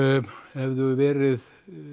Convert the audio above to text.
hefðu verið